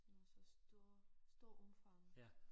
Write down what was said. Sådan noget så stor stor omfang